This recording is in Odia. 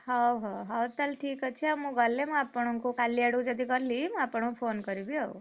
ହଉ ହଉ ହଉ ତାହେଲେ ଠିକ୍ ଅଛି ଆଉ ମୁଁ ଗଲେ ଆପଣଙ୍କୁ କାଲିଆଡକୁ ଯଦି ଗଲି ମୁଁ ଆପଣଙ୍କୁ phone କରିବି ଆଉ।